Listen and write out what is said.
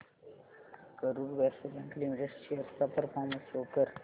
Karur Vysya bank limited shares चा performance show कर